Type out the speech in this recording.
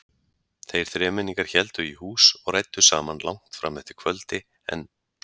Þeir þremenningar héldu í hús og ræddu saman langt fram eftir kvöldi en